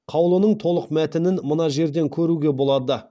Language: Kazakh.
қаулының толық мәтінін мына жерден көруге болады